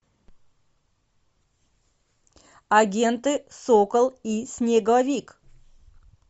агенты сокол и снеговик